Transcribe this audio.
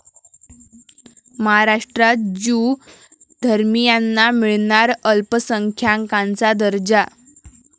महाराष्ट्रात ज्यू धर्मियांना मिळणार अल्पसंख्याकांचा दर्जा